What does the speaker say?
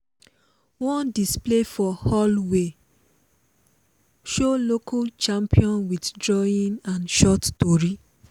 one display for hallway show local champion with drawing and short tori.